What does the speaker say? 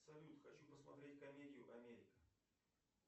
салют хочу посмотреть комедию америка